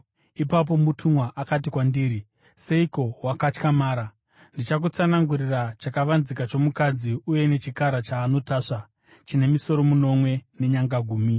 Ipapo mutumwa akati kwandiri, “Seiko wakatyamara? Ndichakutsanangurira chakavanzika chomukadzi uye nechechikara chaanotasva, chine misoro minomwe nenyanga gumi.